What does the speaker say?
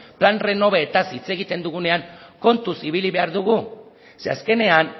plan renovetaz hitz egiten dugunean kontuz ibili behar dugu ze azkenean